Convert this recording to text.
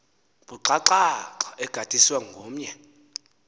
buxhakaxhaka egadiswe omnye